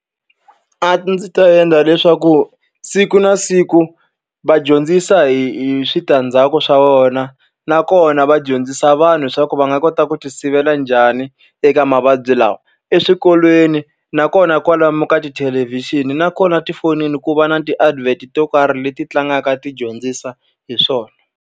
A ndzi ta endla leswaku siku na siku va dyondzisa hi hi switandzhaku swa wona, nakona va dyondzisa vanhu leswaku va nga kota ku ti sivela njhani eka mavabyi lawa. Eswikolweni, nakona kwalomu ka tithelevhixini, nakona tifonini ku va na ti-advert to karhi leti tlangaka ti dyondzisa hi swona.